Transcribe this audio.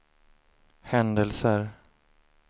händelser